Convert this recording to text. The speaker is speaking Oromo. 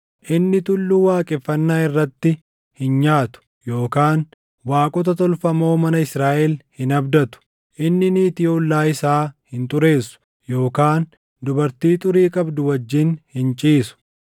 Inni tulluu waaqeffannaa irratti hin nyaatu yookaan waaqota tolfamoo mana Israaʼel hin abdatu. Inni niitii ollaa isaa hin xureessu yookaan dubartii xurii qabdu wajjin hin ciisu.